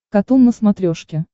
катун на смотрешке